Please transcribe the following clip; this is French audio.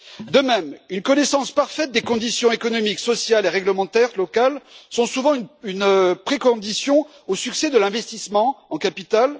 De même, la connaissance parfaite des conditions économiques, sociales et réglementaires locales est souvent une condition préalable au succès de l'investissement en capital.